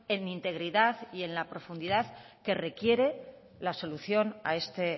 en integridad y en la profundidad que requiere la solución a este